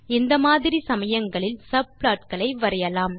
அந்த மாதிரி சமயங்களில் சப்ளாட் களை வரையலாம்